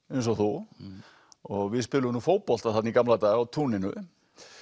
eins og þú og við spiluðum nú fótbolta þarna í gamla daga á túninu